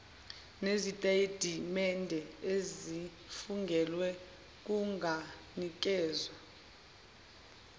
nezitatimende ezifungelwe kunganikezwa